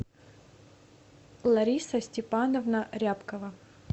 лариса степановна рябкова